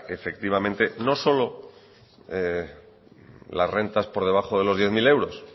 que efectivamente no solo las rentas por debajo de los diez mil euros